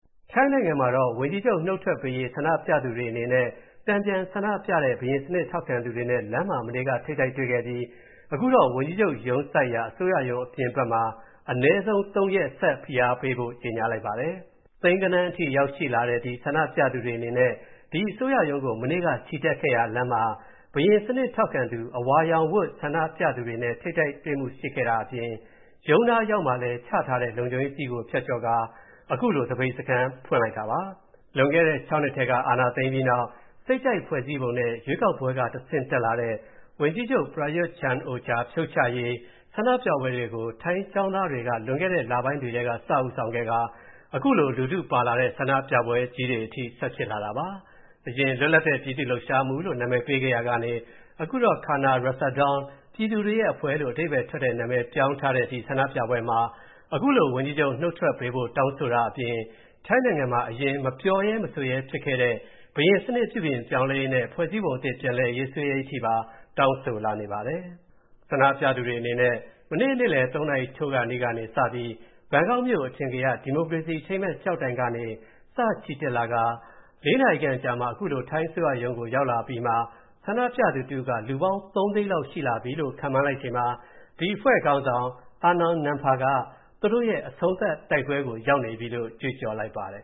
ထိုင်းနိုင်ငံမှာတော့ ဝန်ကြီးချုုပ်နုတ်ထွက်ပေးရေး ဆန္ဒပြသူတွေအနေဲ့၊ တန်ပြန်ဆန္ဒပြတဲ့ ဘုရင်စနစ်ထောက်ခံသူတွေနဲ့လမ်းမှာမနေ့က ထိပ်တိုက်တွေ့ခဲ့ပြီး၊ အခုတော့ ဝန်ကြီးချုပ်ရုံးစိုက်ရာ အစိုးရရုံးအပြင်ဘက်မှာ အနည်းဆုံး (၃) ရက်ဆက်ဖိအားပေးဖို့ ကြေညာလိုက်ပါတယ်။ ထောင်ဂဏန်းတွေနဲ့ချီတဲ့ ဆန္ဒပြသူတွေအနေနဲ့ ဒီအစိုးရရုံးကို မနေ့က ချီတက်ခဲ့ရာလမ်းမှာ၊ ဘုရင်စနစ်ထောက်ခံသူ အဝါရောင်ဝတ် တန်ပြန်ဆန္ဒပြသူတွေနဲ့ ထိပ်တိုက်တွေ့မူတချို့ရှိခဲ့တာအပြင်၊ ရုံးနားအရောက်မှာလည်း ချထားတဲ့ လုံခြုံရေးစည်းကို ဖြတ်ကျော်ကာ အခုလို သပိတ်စခန်းမျိုးဖွင့်လိုက်တာပါ။ လွန်ခဲ့တဲ့ ၆ နှစ်ထဲက အာဏာသိမ်းပြီး နောက် စိတ်ကြိုက်ဖွဲ့စည်းပုံနဲ့ ရွေးကောက်ပွဲက တဆင့်တက်လာတဲ့ ဝန်ကြီးချုပ် Prayut Chan-o-cha ဖြုတ်ချရေးဆန္ဒပြပွဲတွေကို ထိုင်းကျောင်းသားတွေက လွန်ခဲ့တဲ လပိုင်းတွေထဲက စဦးဆောင်ခဲ့ကာ၊ အခုလို လူထူပါလာတဲ့ ဆန္ဒပြပွဲကြီးတွေဆက်ဖြစ်လာတာပါ။ အရင် လွတ်လပ်တဲ့ပြည်သူ့လှုပ်ရှားမူလို့နာမည်ပေးခဲ့ရာကနေ၊ အခု Khana Ratsadorn ပြည်သူတွေရဲ့အဖွဲ့လို့ အဓိပ္ပါယ်ထွက်တဲ့ နာမည်ပြောင်းထားတဲ့ ဒီဆန္ဒပြပွဲမှာ၊ အခုလို ဝန်ကြီးချုပ်နုတ်ထွက်ပေးဖို့ တောင်းဆိုတာအပြင်၊ ထိုင်းနိုင်ငံမှာ အရင် မပြောရဲမဆိုရဲဖြစ်ခဲ့တဲ့ ဘုရင်စနစ်ပြုပြင်ပြောင်းလဲရေးနဲ့ ဖွဲ့စည်းပုံအသစ်ပြန်ရေးဆွဲရေးအထိပါ တောင်းဆိုလာနေပါတယ်။ ဆန္ဒပြသူတွေအနေနဲ့ မနေ့နေ့လည် ၃ နာရီထိုးကာနီးကနေစပြီး၊ ဘန်ကောက်မြို.အထင်ကရ ဒီမိုကရေစီ အထိမ်းအမှတ်ကျောက်တိုင်ကနေ စချီတက်လာတာ၊ ၄ နာရီခန့်အကြာမှာ အခုလို ထိုင်းအစိုးရရုံးကိုရောက်အပြီးမှာ ဆန္ဒပြသူတစ်ဦးက လူပေါင်း ၃ သိန်းလောက်ရှိလာပြီလို့ ခန့်မှန်းလိုက်ချိန်မှာ၊ ဒီအဖွဲ့ခါင်းဆောင် Arnon Nampha က သူတို့ရဲ့ အဆုံးသတ်တိုက်ပွဲကို ရောက်နေပြီလို့ ကြွေးကြော်လိုက်ပါတယ်